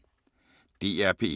DR P1